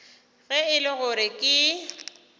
ge e le gore ke